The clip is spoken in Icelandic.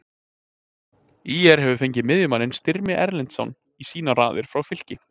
ÍR hefur fengið miðjumanninn Styrmi Erlendsson í sínar raðir frá Fylki.